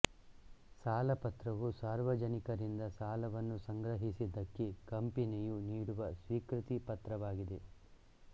ಸಾಲಪತ್ರವು ಸಾರ್ವಜನಿಕರಿಂದ ಸಾಲವನ್ನು ಸಂಗ್ರಹಿಸಿದ್ದಕ್ಕೆ ಕಂಪನಿಯು ನೀಡುವ ಸ್ವೀಕೃತಿ ಪತ್ರವಾಗಿದೆ